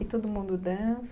E todo mundo dan?